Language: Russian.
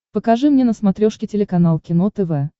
покажи мне на смотрешке телеканал кино тв